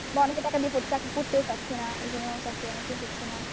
বা অনেকে টাকা দিয়ে চাকরি করতেও চাচ্ছে না, এজন্য চাকরি অনেকের হচ্ছে না।